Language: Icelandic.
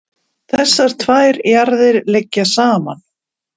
þessar tvær jarðir liggja saman